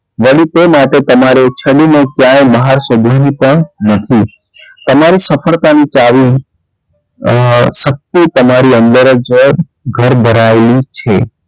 વળી તે માટે તમારે છડી ને ક્યાય બહાર શોધવાની પણ નથી તમારે સફળતાની ચાવી અ ~અ શક્તિ તમારી અંદર જ ઘર ભરાયેલી છે.